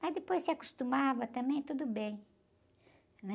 Mas depois se acostumava também, tudo bem, né?